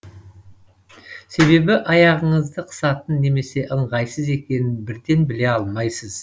себебі аяғыңызды қысатынын немесе ыңғайсыз екенін бірден біле алмайсыз